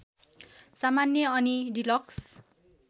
सामान्य अनि डिलक्स